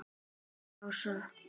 spurði Ása.